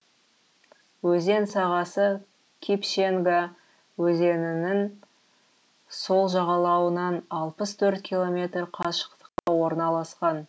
өзен сағасы кипшенга өзенінің сол жағалауынан алпыс төрт километр қашықтықта орналасқан